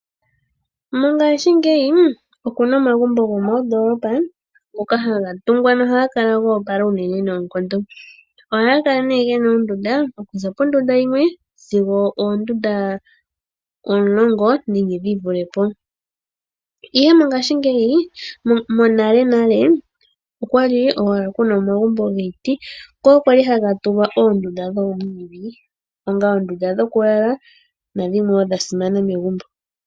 Mongashingeyi oku na omagumbo gomoondoolopa ngoka haga tungwa nohaga kala go opoala noonkondo. Ohaga ge na oondunda okuza pondunda yimwe sigo oondunda omulongo nenge dhi vule po. Monalenale, okwa li owala ku na omagumbo giiti ngoka ga li haga tungwa oondunda dhoomwiidhi onga oondunda dhokulala nadhimwe wo dha simana megumbo.